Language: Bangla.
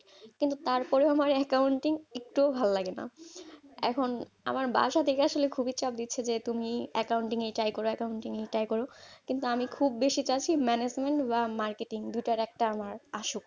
কিন্তু তারপরেও আমার accounting একটুও ভালো লাগেনা। এখন আমার বাসা থেকে আসলে খুবই চাপ দিচ্ছে যে, তুমি accounting এই try করো accounting এই try করো। কিন্তু আমি খুব basic আছি management বা marketing দুইটার একটা আমার আসুক।